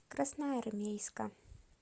красноармейска